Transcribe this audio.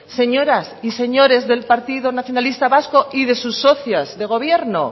señoras y señores del partido nacionalista vasco y de sus socios de gobierno